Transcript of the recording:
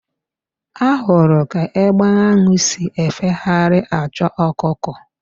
Ahụrụ ka egbe ahụ si efegharị achọ ọkụkọ.